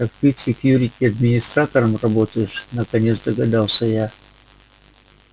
так ты в секьюрити администратором работаешь наконец догадалась я